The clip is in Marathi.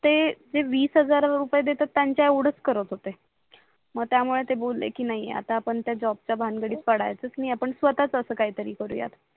ते वीस हजार रुपये देतात त्यांच्या येवडच करत होते मग त्यामूळे ते बोले की नाही आता पण त्या जॉबच्या भानगडीत पडायचंच नाही आपण स्वतःच असं काहीतरी करूयात